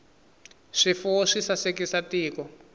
swifuwo swi sasekisa tiko